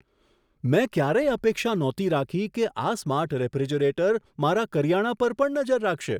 મેં ક્યારેય અપેક્ષા નહોતી રાખી કે આ સ્માર્ટ રેફ્રિજરેટર મારા કરિયાણા પર પણ નજર રાખશે.